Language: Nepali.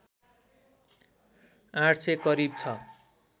८०० करिब छ